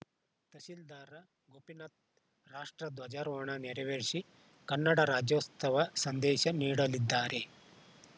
ತಹಸೀಲ್ದಾರ್‌ ಗೋಪಿನಾಥ್‌ ರಾಷ್ಟ್ರ ಧ್ವಜಾರೋಹಣ ನೆರವೇರಿಸಿ ಕನ್ನಡ ರಾಜ್ಯೋತ್ಸವ ಸಂದೇಶ ನೀಡಲಿದ್ದಾರೆ